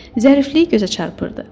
Zərifliyi gözə çarpırdı.